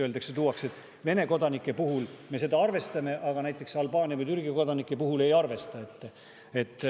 Näiteks öeldakse, et Vene kodanike puhul me seda arvestame, aga Albaania või Türgi kodanike puhul ei arvesta.